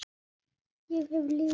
Ég hef lykil.